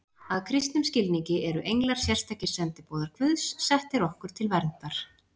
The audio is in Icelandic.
Að kristnum skilningi eru englar sérstakir sendiboðar Guðs, settir okkur til verndar.